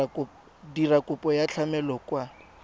dira kopo ya tlamelo kwa